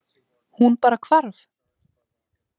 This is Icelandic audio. Hún bara hvarf.